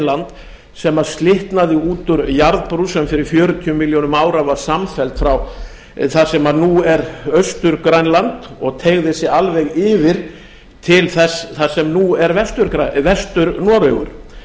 örmeginland sem slitnaði út úr jarðbrú sem fyrir fjörutíu milljónum ára var samfelld þar sem nú er austur grænland og teygði sig alveg yfir til þess sem nú er vestur noregur